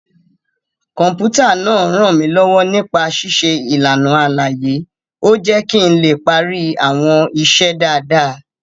Kọ̀m̀pútà náà rànmílọ́wọ́ nípa ṣíṣe ìlànà àlàyé, ó jé kí n lè parí àwọn iṣẹ́ dáadáa